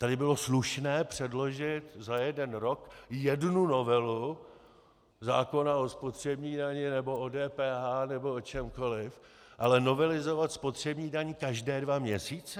Tady bylo slušné předložit za jeden rok jednu novelu zákona o spotřební dani nebo o DPH nebo o čemkoliv, ale novelizovat spotřební daň každé dva měsíce?